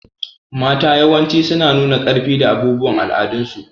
Mata yawanci suna nuna ƙarfi da abubuwan al'adun su.